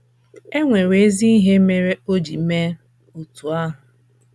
E nwere ezi ihe mere o ji mee otú ahụ.